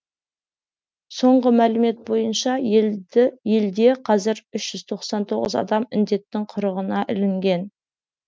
соңғы мәлімет бойынша елде қазір үш жүз тоқсан тоғыз адам індеттің құрығына ілінген